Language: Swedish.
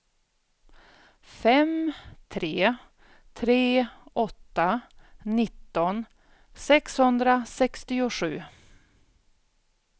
fem tre tre åtta nitton sexhundrasextiosju